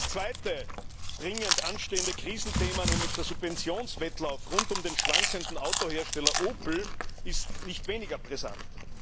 Das zweite dringend anstehende Krisenthema, nämlich der Subventionswettlauf rund um den schwankenden Autohersteller Opel, ist nicht weniger brisant.